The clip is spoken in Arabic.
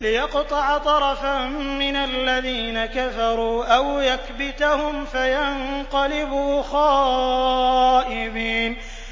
لِيَقْطَعَ طَرَفًا مِّنَ الَّذِينَ كَفَرُوا أَوْ يَكْبِتَهُمْ فَيَنقَلِبُوا خَائِبِينَ